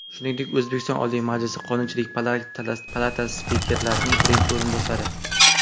Shuningdek, O‘zbekiston Oliy Majlisi Qonunchilik palatasi Spikerining birinchi o‘rinbosari.